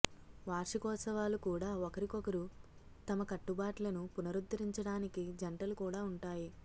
వార్షికోత్సవాలు కూడా ఒకరికొకరు తమ కట్టుబాట్లను పునరుద్దరించడానికి జంటలు కూడా ఉంటాయి